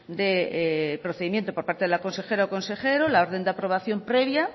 de procedimiento por parte de la consejera o consejero la orden de aprobación previa